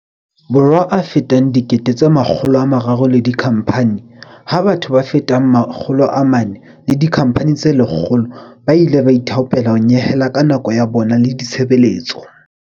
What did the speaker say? Borwa a fetang 300 000 le dikhampani, ha batho ba fetang 400 le dikhampani tse 100 ba ile ba ithaopela ho nyehela ka nako ya bona le ditshebeletso.